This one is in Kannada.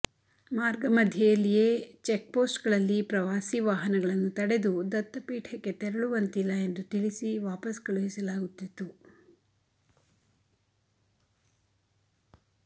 ಮಾರ್ಗ ಮಧ್ಯೆಯಲ್ಲಿಯೇ ಚೆಕ್ಪೋಸ್ಟ್ಗಳಲ್ಲಿ ಪ್ರವಾಸಿ ವಾಹನಗಳನ್ನು ತಡೆದು ದತ್ತಪೀಠಕ್ಕೆ ತೆರಳುವಂತಿಲ್ಲ ಎಂದು ತಿಳಿಸಿ ವಾಪಸ್ ಕಳುಹಿಸಲಾಗುತ್ತಿತ್ತು